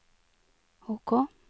OK